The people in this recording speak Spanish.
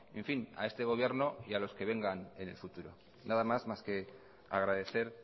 en fin a este gobierno y a los que vengan en el futuro nada más más que agradecer